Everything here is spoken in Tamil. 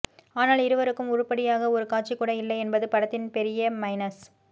ஆனால் இருவருக்கும் உருப்படியாக ஒரு காட்சி கூட இல்லை என்பது படத்தின் பெரிய மைனஸ்